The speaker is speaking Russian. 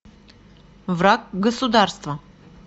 враг государства